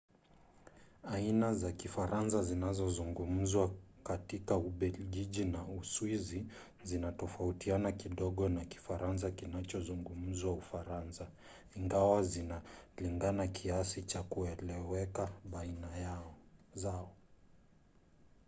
aina za kifaransa zinazozungumzwa katika ubelgiji na uswizi zinatofautiana kidogo na kifaransa kinachozungumzwa ufaransa ingawa zinalingana kiasi cha kueleweka baina yazo